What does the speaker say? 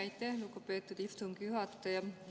Aitäh, lugupeetud istungi juhataja!